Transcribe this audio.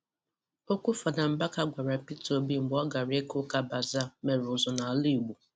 Okwu Fada Mbaka gwara Peter Obi mgbe ọ gara ịka ụka 'Bazaar' mere ụzụ n'ala Igbo